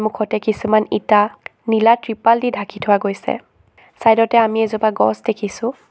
ওখতে কিছুমান ইটা নীলা কৃপাল দি ঢাকি থোৱা গৈছে চাইডতে আমি এজোপা গছ দেখিছোঁ।